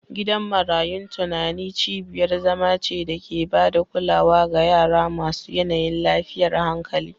Gidan marayun tunani cibiyar zama ce da ke ba da kulawa ga yara masu yanayin lafiyar hankali